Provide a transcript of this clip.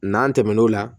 N'an tɛmɛn'o la